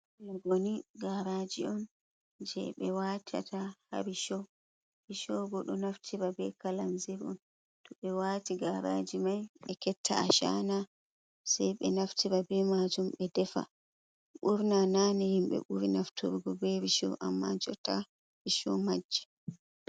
Logoni, gaaraaji on jey ɓe waatata haa ricsho, risho bo ɗo naftira bee kalazir on to ɓe waati gaaraaji mai ɓe ketta ashana sai ɓe naftira bee maajum ɓe defa, ɓurna naane himɓe ɓuri naftirgo bee risho amma jotta riisho majji.